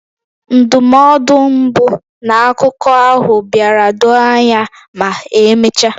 Ndụmọdụ mbụ na akụkọ ahụ bịara doo anya ma emechaa.